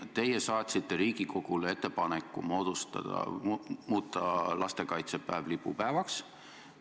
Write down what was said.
Teie saatsite Riigikogule ettepaneku muuta lastekaitsepäev lipupäevaks.